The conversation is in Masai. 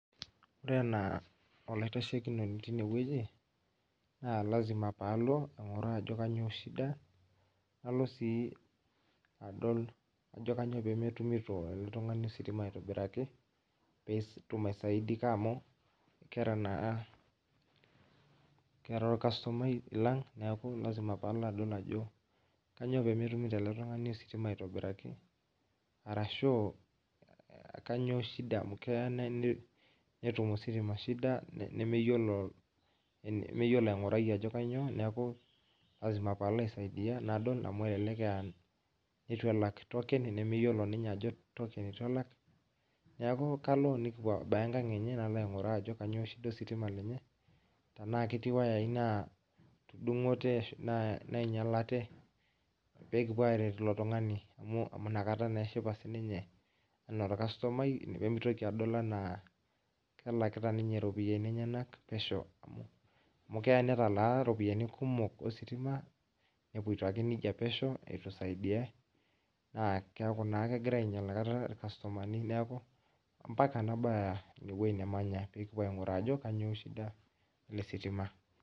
Ore enaa oilitashokinoni teine oji, naa lazima paalo ainkuraa ajo kanyio shida, nalo sii adol kanyio peemetumito oltungani ositima aitobiraki peetum aisaidika amu ketaa ilkastomai lang', neeku lazima paalo adol ajo kanyio peemetumito ele tungani ositima aitobiraki, arashuu kanyio shida amu keya netum ositima shida nemeyiolo ainkurai ajo kanyio, neeku lazima paalo aisaidia nadol amu elelek aaitu elak token nemeyiolo ninye ajo token eitu elak, neeku kalo abaya enkank enye nainkuraa ajo kanyio shida ositima lenye enaa ketii iwayai naatudunkote nainyialate peekipuo aaret ilo tungani, amu nakata eshipa sininye enaa ilkastomai pee mitoki adol enaa kelekata iropiyiani enyak pesho, amu keya nitalaa iropiyiani kumok ositima nepoito ake nejia pesho neitu saidiai neeku naa kegira ainyial nakata ilkastomani neeku mbaka nabaya inewoji nemanya, nikipuo ainkuraa ajo kanyio shida ele sitima.